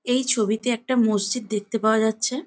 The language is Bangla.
এই ছবিতে একটা মসজিদ দেখতে পাওয়া যাচ্ছে-এ।